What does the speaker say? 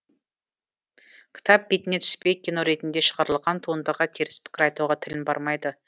кітап бетіне түспей кино ретінде шығарылған туындыға теріс пікір айтуға тілім бармайды